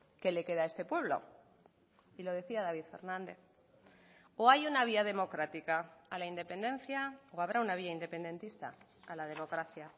qué le queda a este pueblo y lo decía david fernández o hay una vía democrática a la independencia o habrá una vía independentista a la democracia